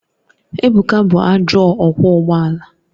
Ebuka bụ ajọ ọkwọ ụgbọ ala